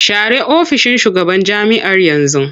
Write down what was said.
Share ofishin shugaban jami'ar yanzu!